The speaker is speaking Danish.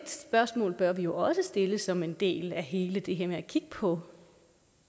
spørgsmål bør vi jo også stille som en del af hele det her med at kigge på